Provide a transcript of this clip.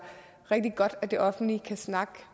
rigtig godt at det offentlige kan snakke